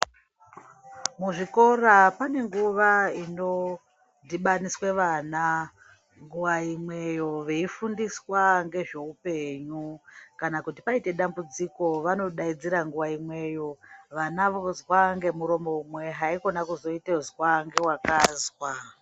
Muzvikora pane nguva inodhibaniswe vana nguwa imweyo veifundiswa ngezveupenyu kana kuti paite dambudziko vanodaidzira nguwa imweyo vana vozwa ngemuromo umwe haikona kuzoita zwangewakazwa.